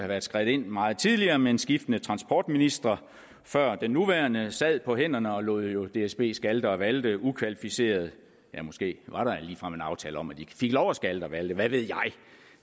været skredet ind meget tidligere men skiftende transportministre før den nuværende sad på hænderne og lod lod dsb skalte og valte ukvalificeret ja måske var der ligefrem en aftale om at de fik lov til at skalte og valte hvad ved